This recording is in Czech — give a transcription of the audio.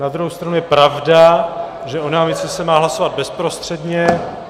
Na druhou stranu je pravda, že o námitce se má hlasovat bezprostředně.